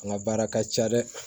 An ka baara ka ca dɛ